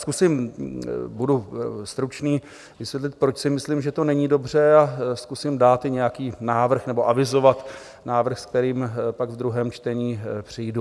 Zkusím, budu stručný, vysvětlit, proč si myslím, že to není dobře, a zkusím dát i nějaký návrh, nebo avizovat návrh, s kterým pak v druhém čtení přijdu.